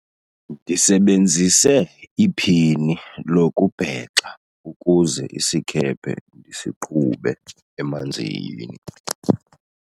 ndisebenzise iphini lokubhexa ukuze isikhephe ndisiqhube emanzini